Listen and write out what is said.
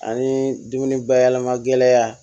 Ani dumuni bayɛlɛma gɛlɛya